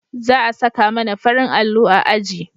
za a saka mana farin allo a aji